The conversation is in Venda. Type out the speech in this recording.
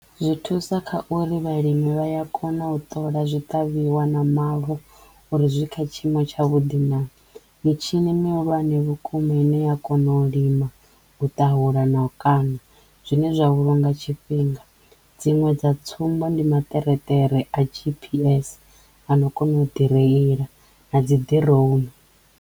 Zwi thusa kha uri vhalimi vha ya kona u ṱola zwi ṱavhiwa na mavu uri zwi kha tshiimo tshavhuḓi naa? mitshini mihulwane vhukuma ine ya kono u lima, u tahulela na u kaṋa zwine zwa vhulunga tshifhinga dziṅwe dza tsumbo ndi maṱereṱere a GPS ano kona u ḓi reila a dzi drown.